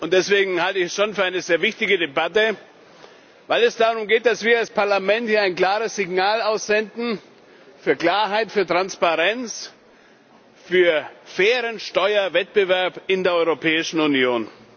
Deswegen halte ich es schon für eine sehr wichtige Debatte, weil es darum geht, dass wir als Parlament hier ein klares Signal aussenden, für Klarheit, für Transparenz, für fairen Steuerwettbewerb in der Europäischen Union.